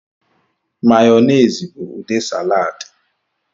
Mayonezi bụ ude salad.